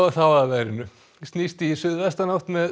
þá að veðri snýst í suðvestanátt með